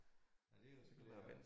Nej det jo så glæden